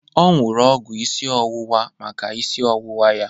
O nuru ọgwụ isi ọwụwa maka isi ọwụwa ya.